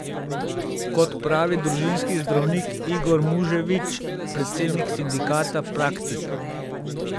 Kot pravi družinski zdravnik Igor Muževič, predsednik sindikata Praktik.